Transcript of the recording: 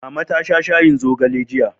Mama ta sha shayin zogale jiya.